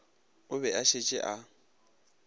o be a šetše a